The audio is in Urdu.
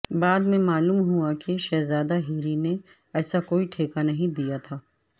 بعد میں معلوم ہوا کہ شہزادہ ہیری نے ایسا کوئی ٹھیکہ نہیں دیا تھا